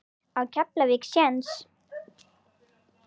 Á Keflavík séns?